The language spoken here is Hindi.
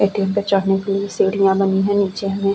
एक्स पास में रेड कलर का ऊपर में है वाइट कलर का दिए लिखा हुआ है साइड में --